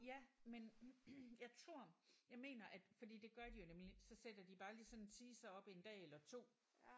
Ja men jeg tror jeg mener at fordi det gør de jo nemlig så sætter de bare lige sådan en teaser op en dag eller 2